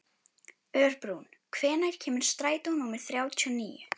Örbrún, hvenær kemur strætó númer þrjátíu og níu?